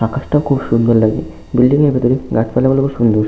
আকাশটা খুব সুন্দর লাগছে বিল্ডিং -এর ভেতরে গাছপালাগুলো খুব সুন্দর।